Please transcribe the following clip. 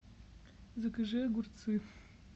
закажи огурцы